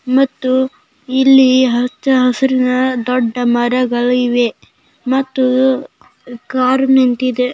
ಮತ್ತು ಇಲ್ಲಿ ಹಚ್ಚ ಹಸುರಿನ ದೊಡ್ಡ ಮರಗಳಿವೆ ಮತ್ತು ಕಾರ್ ನಿಂತಿದೆ.